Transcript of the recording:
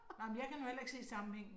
Nej, men jeg kan nu heller ikke se sammenhængen